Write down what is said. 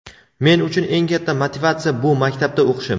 Men uchun eng katta motivatsiya- shu maktabda o‘qishim.